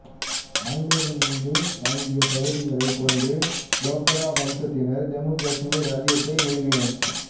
ஆங்கிலேயர்களிடமிருந்து வாங்கிய பகுதிகளைக் கொண்டு டோக்ரா வம்சத்தினர் ஜம்மு காஷ்மீர் இராச்சியத்தை நிறுவினர்